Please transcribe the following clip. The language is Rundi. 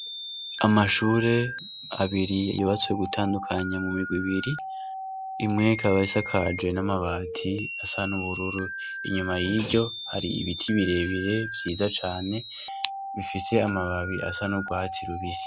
Amashure abiri yubatse gutandukanya mu mirwi ibiri, imwe ikaba isakaje n'amabati asa n'ubururu. Inyuma y'iryo, hari ibiti bire bire vyiza cane bifise amababi asa n'urwatsi rubisi.